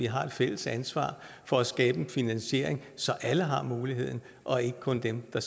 har et fælles ansvar for at skabe finansiering så alle har muligheden og ikke kun dem der